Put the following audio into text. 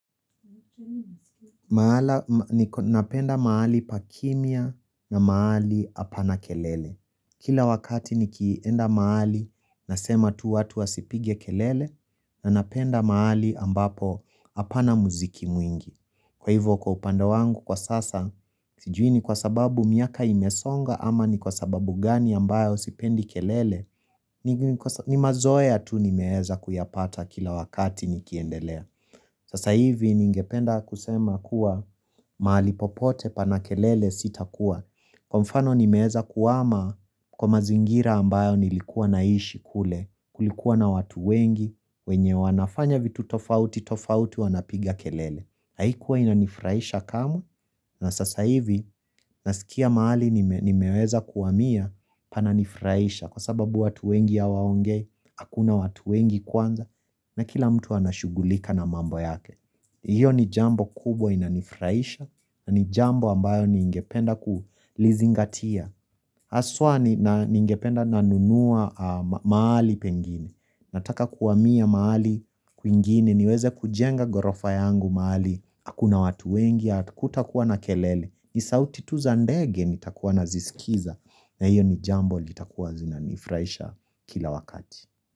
Napenda mahali pakimia na mahali apana kelele. Kila wakati nikienda mahali nasema tu watu wasipige kelele na napenda mahali ambapo apana muziki mwingi. Kwa hivyo kwa upande wangu kwa sasa, sijuini kwa sababu miaka imesonga ama ni kwa sababu gani ambayo sipendi kelele, ni mazoe tu nimeheza kuyapata kila wakati nikiendelea. Sasa hivi ningependa kusema kuwa mahali popote pana kelele sitakuwa. Kwa mfano nimeheza kuama kwa mazingira ambayo nilikuwa naishi kule, kulikuwa na watu wengi, wenye wanafanya vitu tofauti tofauti wanapiga kelele. Haikuwa inanifraisha kamwe na sasa hivi nasikia mahali nimeweza kuwamia pana nifraisha kwa sababu watu wengi ya waongei, hakuna watu wengi kwanza na kila mtu anashugulika na mambo yake. Iyo ni jambo kubwa inanifraisha na ni jambo ambayo ningependa kulizingatia. Aswa ni ingependa nanunua mahali pengine. Nataka kuwamia mahali kuingine niweze kujenga gorofa yangu mahali. Akuna watu wengi hatu kutakuwa na kelele. Nisauti tu za ndege nitakuwa na zisikiza na iyo ni jambo litakuwa zinanifraisha kila wakati.